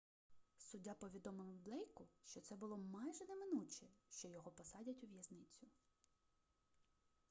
суддя повідомив блейку що це було майже неминуче що його посадять у в'язницю